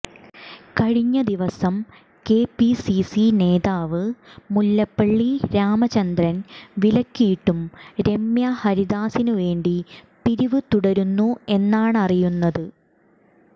കഴിഞ്ഞ ദിവസം K P C C നേതാവ് മുല്ലപ്പള്ളി രാമചന്ദ്രൻ വിലക്കിയിട്ടും രമ്യ ഹരിദാസിനുവേണ്ടി പിരിവ് തുടരുന്നു എന്നാണറിയുന്നത്